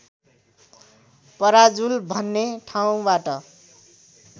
पराजुल भन्ने ठाउँबाट